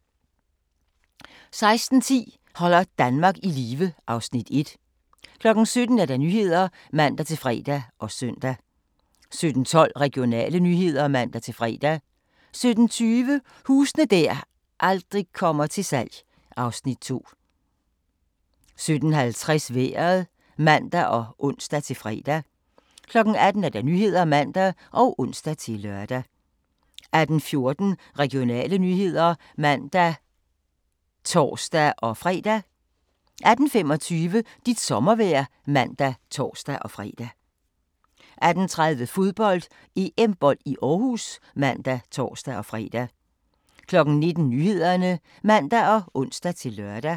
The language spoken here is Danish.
16:10: Holder Danmark i live (Afs. 1) 17:00: Nyhederne (man-fre og søn) 17:12: Regionale nyheder (man-fre) 17:20: Huse der aldrig kommer til salg (Afs. 2) 17:50: Vejret (man og ons-fre) 18:00: Nyhederne (man og ons-lør) 18:14: Regionale nyheder (man og tor-fre) 18:25: Dit sommervejr (man og tor-fre) 18:30: Fodbold: EM-bold i Aarhus (man og tor-fre) 19:00: Nyhederne (man og ons-lør)